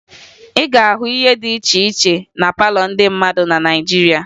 Ị ga-ahụ ihe dị iche iche na palọ ndị mmadụ na Naịjirịa